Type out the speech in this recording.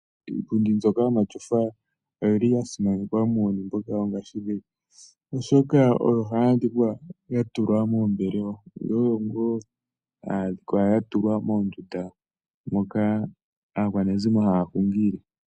Iipundi mbyoka yomatyofa oyili yasimanekwa muuyuni mbuka pethimbo lyongaashingeyi oshoka oyo hayi adhika yatulwa moombelewa nomoondunda moka aakwanezimo haya hungile.